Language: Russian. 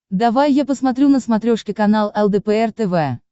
давай я посмотрю на смотрешке канал лдпр тв